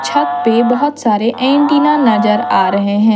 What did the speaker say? छत पे बहोत सारे एंटीना नजर आ रहे हैं।